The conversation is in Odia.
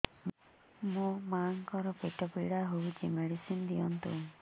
ମୋ ମାଆଙ୍କର ପେଟ ପୀଡା ହଉଛି ମେଡିସିନ ଦିଅନ୍ତୁ